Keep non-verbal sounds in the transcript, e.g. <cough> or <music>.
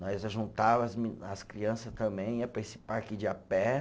Nós ajuntava <unintelligible> as criança também, ia para esse parque de a pé.